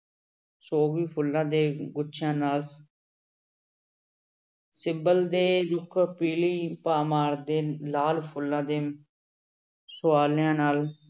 ਸੋਵੀ ਫੁੱਲਾਂ ਦੇ ਗੁੱਛਿਆਂ ਨਾਲ ਸਿਬਲ ਦੇ ਰੁੱਖ ਪੀਲੀ ਭਾਅ ਮਾਰਦੇ ਲਾਲ ਫੁੱਲਾਂ ਦੇ ਨਾਲ